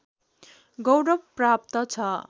गौरव प्राप्त छ